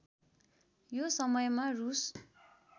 यो समयमा रूस